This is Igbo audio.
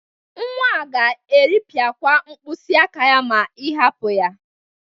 Nwa a ga-eripịakwa mkpịsịaka ya ma ị hapụ ya.